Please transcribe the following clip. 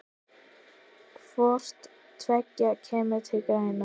Hvort tveggja kemur til greina.